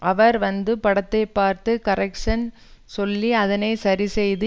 அவர் வந்து படத்தை பார்த்து கரெக்ஷ்ன் சொல்லி அதனை சரி செய்து